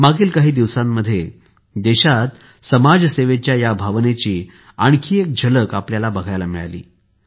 मागील काही दिवसांमध्ये देशात समाजसेवेच्या या भावनेची आणखी एक झलक आपल्याला पहायला मिळाली